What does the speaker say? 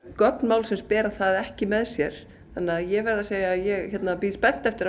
gögn málsins bera það ekki með sér þannig að ég verð að segja að ég bíð spennt eftir